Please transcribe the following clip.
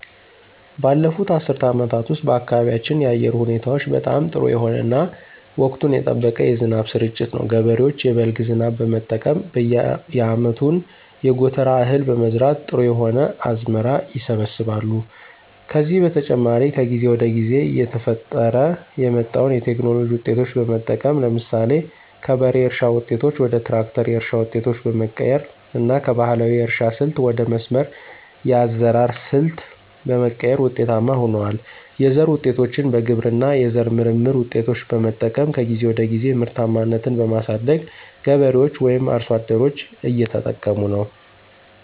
ባለፉት አስርት አመታት ውስጥ በአካባቢያችን የአየር ሁኔታዎች በጣም ጥሩ የሆነ እና ወቅቱን የጠበቀ የዝናብ ስርጭት ነው። ገበሬዎች የበልግ ዝናብ በመጠቀም የአመቱን የጎተራ እህል በመዝራት ጥሩ የሆነ አዝመራ ይሰበስባሉ። ከዚህ በተጨማሪ ከጊዜ ወደ ጊዜ እየተፈጠረ የመጣዉን የቴክኖሎጂ ዉጤቶች በመጠቀም ለምሳሌ ከበሬ እርሻ ዉጤቶች ወደ ትራክተር የእርሻ ዉጤቶች በመቀየር እና ከባህላዊ የእርሻ ስልት ወደ መስመር የአዘራር ሰልት በመቀየር ውጤታማ ሁነዋል። የዘር ዉጤቶችን በግብርና የዘር ምርምር ውጤቶች በመጠቀም ከጊዜ ወደ ጊዜ ምርታማነትን በማሳደግ ገበሬዎች ወይም አርሶ አደሮች እየተጠቀሙ ነው።